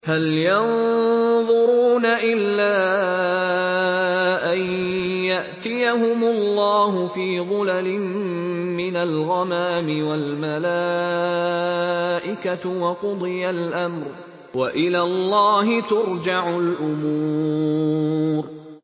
هَلْ يَنظُرُونَ إِلَّا أَن يَأْتِيَهُمُ اللَّهُ فِي ظُلَلٍ مِّنَ الْغَمَامِ وَالْمَلَائِكَةُ وَقُضِيَ الْأَمْرُ ۚ وَإِلَى اللَّهِ تُرْجَعُ الْأُمُورُ